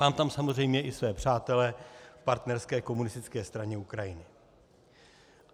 Mám tam samozřejmě i své přátele v partnerské Komunistické straně Ukrajiny.